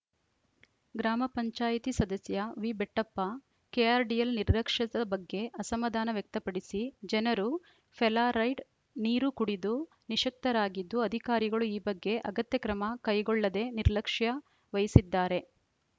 ಗ್ರಾಮ ಪಂಚಾಯತ್ ಸದಸ್ಯ ವಿಬೆಟ್ಟಪ್ಪ ಕೆಆರ್‌ಡಿಎಲ್‌ ನಿರ್ಲಕ್ಷ್ಯದ ಬಗ್ಗೆ ಅಸಮದಾನ ವ್ಯಕ್ತಪಡಿಸಿ ಜನರು ಫೆಲಾರೈಡ್ ನೀರು ಕುಡಿದು ನಿಶಕ್ತರಾಗಿದ್ದು ಅಧಿಕಾರಿಗಳು ಈ ಬಗ್ಗೆ ಅಗತ್ಯ ಕ್ರಮ ಕೈಗೊಳ್ಳದೆ ನಿರ್ಲಕ್ಷ್ಯ ವಹಿಸಿದ್ದಾರೆ